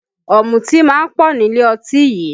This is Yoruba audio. Ọ̀mùtí máa ń pọ̀ nílé ọtí yìí